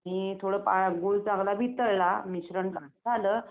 आणि थोडं गूळ चांगला वितळला मिश्रण झालं